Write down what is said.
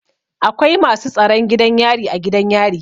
Akwai masu tsaron gidan yari a gidan yari.